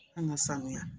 An ka sanuya